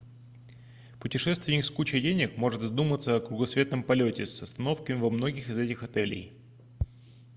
путешественник с кучей денег может задуматься о кругосветном полете с остановками во многих из этих отелей